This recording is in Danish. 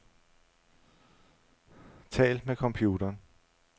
Tal med computeren.